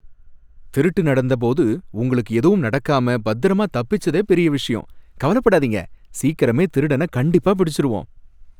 திருட்டு நடந்த போது உங்களுக்கு எதுவும் நடக்காம பத்திரமா தப்பிச்சதே பெரிய விஷயம். கவலபடாதீங்க, சீக்கரமே திருடன கண்டிப்பா பிடிச்சிருவோம்.